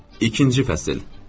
İkinci fəsil.